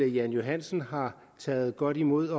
jan johansen har taget godt imod